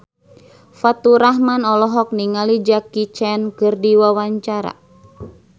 Faturrahman olohok ningali Jackie Chan keur diwawancara